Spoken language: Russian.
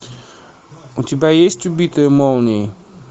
у тебя есть убитые молнией